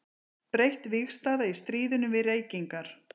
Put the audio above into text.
Breytt vígstaða í stríðinu við reykingar.